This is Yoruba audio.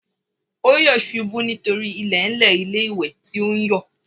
Ó yọ̀ ṣubú nítorí ilẹ̀ẹ́ńlẹ̀ ilé-ìwẹ̀ tí ó ń yọ̀